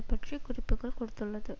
பற்றி குறிப்புக்கள் கொடுத்துள்ளது